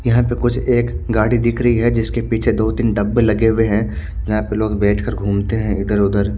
यहा पे कुछ एक गाड़ी दिख रही है जिसके पीछे दो तिन डब्बे लगे हुए है जहा पे लोग बेठ कर गुमते है इधर उधर।